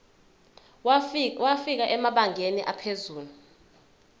wafika emabangeni aphezulu